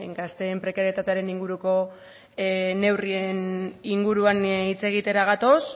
gazteen prekarietatearen inguruko neurrien inguruan hitz egitera gatoz